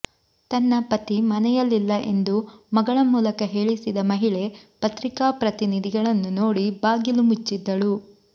ತನ್ನ ಪತಿ ಮನೆಯಲಿಲ್ಲ ಎಂದು ಮಗಳ ಮೂಲಕ ಹೇಳಿಸಿದ ಮಹಿಳೆ ಪತ್ರಿಕಾ ಪ್ರತಿನಿಧಿಗಳನ್ನು ನೋಡಿ ಬಾಗಿಲು ಮುಚ್ಚಿದ್ದಳು